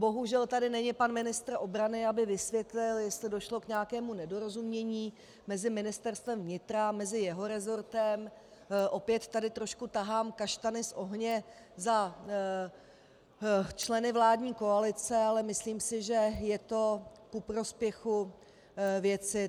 Bohužel tady není pan ministr obrany, aby vysvětlil, jestli došlo k nějakému nedorozumění mezi Ministerstvem vnitra, mezi jeho resortem, opět tady trošku tahám kaštany z ohně za členy vládní koalice, ale myslím si, že je to ku prospěchu věci.